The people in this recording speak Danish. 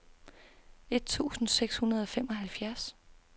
et tusind seks hundrede og femoghalvfjerds